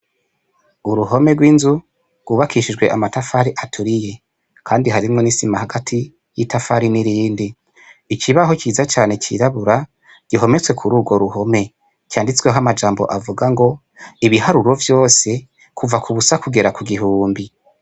Uruhome gw' inzu gwubakishijwe amatafari aturiye kandi harimwo n' isima hagati y' itafari n' irindi ikibaho ciza cirabura gihometse kuri ugwo ruhome canditsweho amajambo avuga ngo ibiharuro vyose kuva ku busa kugera ku gihumbi.